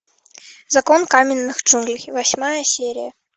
закон каменных джунглей восьмая серия